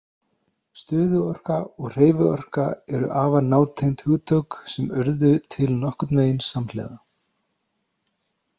Stöðuorka og hreyfiorka eru afar nátengd hugtök sem urðu til nokkurn veginn samhliða.